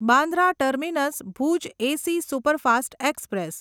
Bandra terminus Bhuj AC superfast express